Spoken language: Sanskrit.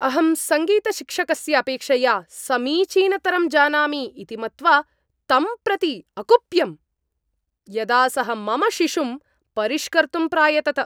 अहं सङ्गीतशिक्षकस्य अपेक्षया समीचीनतरं जानामि इति मत्वा तं प्रति अकुप्यम्, यदा सः मम शिशुं परिष्कर्तुं प्रायतत।